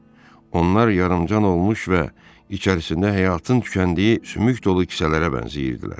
Onlar yarımcan olmuş və içərisində həyatın tükəndiyi sümük dolu kisələrə bənzəyirdilər.